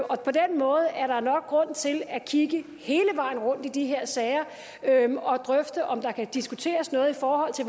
og på den måde er der nok grund til at kigge hele vejen rundt i de her sager og drøfte om der kan diskuteres noget i forhold til